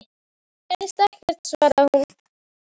Það gerðist ekkert, svaraði hún.